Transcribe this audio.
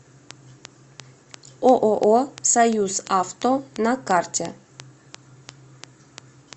ооо союзавто на карте